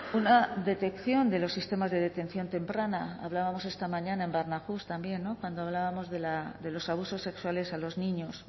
una detección de los sistemas de detección temprana hablábamos esta mañana en barnahus también cuando hablábamos de los abusos sexuales a los niños